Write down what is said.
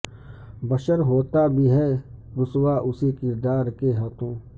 بشر ہوتا بھی ہے رسوا اسی کردار کے ہاتھوں